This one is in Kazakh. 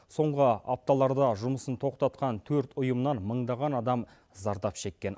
соңғы апталарда жұмысын тоқтатқан төрт ұйымнан мыңдаған адам зардап шеккен